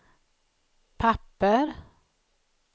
papper